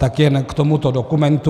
Tak jen k tomuto dokumentu.